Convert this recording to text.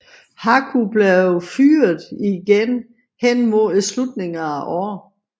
Haku blev fyret igen hen mod slutningen af året